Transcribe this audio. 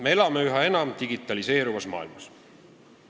Me elame üha enam digitaliseeruvas maailmas.